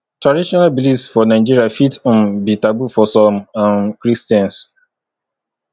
traditional beliefs for nigeria fit um be taboo for some um christians